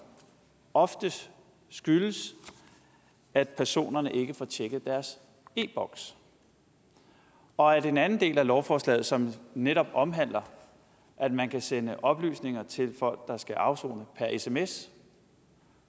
oftest skyldes at personerne ikke får tjekket deres e boks og at en anden del af lovforslaget som netop omhandler at man kan sende oplysninger til folk der skal afsone per sms